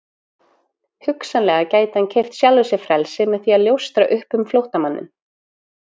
Hugsanlega gæti hann keypt sjálfum sér frelsi með því að ljóstra upp um flóttamanninn.